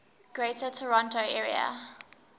greater toronto area